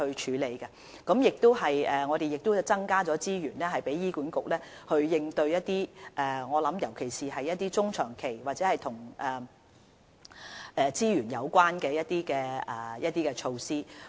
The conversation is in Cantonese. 此外，我們亦增加資源讓醫管局作出應對，尤其是一些中、長期或與資源有關的措施。